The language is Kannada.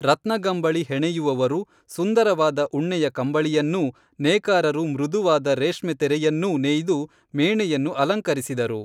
ರತ್ನಗಂಬಳಿ ಹೆಣೆಯುವವರು ಸುಂದರವಾದ ಉಣ್ಣೆಯ ಕಂಬಳಿಯನ್ನೂ ನೇಕಾರರು ಮೃದುವಾದ ರೇಷ್ಮೆ ತೆರೆಯನ್ನೂ ನೇಯ್ದು ಮೇಣೆಯನ್ನು ಅಲಂಕರಿಸಿದರು